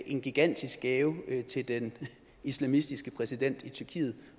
en gigantisk gave til den islamistiske præsident i tyrkiet